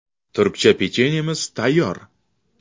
Turkcha pechenyemiz tayyor.